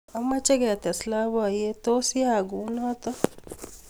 Amache ketes labkyet tos yaiyak kunoto